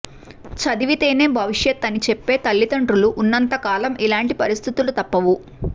చదివితేనే భవిష్యత్తు అని చెప్పే తల్లిదండ్రులు ఉన్నంతకాలం ఇలాంటి పరిస్థితులు తప్పవు